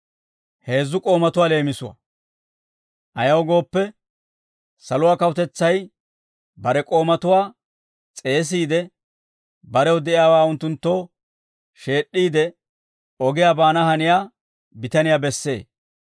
«Ayaw gooppe, saluwaa kawutetsay bare k'oomatuwaa s'eesiide, barew de'iyaawaa unttunttoo sheed'd'iide, ogiyaa baana haniyaa bitaniyaa bessee.